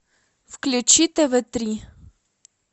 включи тв три